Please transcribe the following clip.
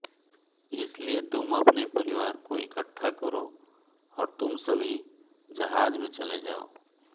इसलिए तुम अपने परिवार को इकट्ठा करो और तुम सभी जहाज में चले जाओ